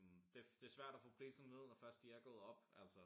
Det det svært at få priserne ned når først de er gået op altså